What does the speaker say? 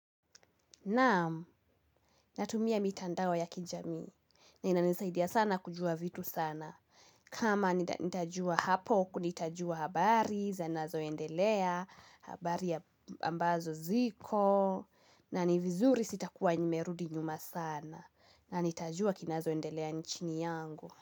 Naamu, natumia mitandao ya kijamii, inanisaidia sana kujua vitu sana. Kama nitajua hapo, kunitajua habari, zinazoendelea, habari ambazo ziko na ni vizuri sitakuwa nimerudi nyuma sana na nitajua kinazoendelea nchini yangu.